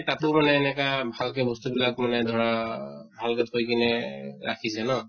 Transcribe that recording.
তাতো মানে এনেকা ভালকে বস্তু বিলাক মানে ধৰা ভালকে থৈ কিনে ৰাখিছে ন?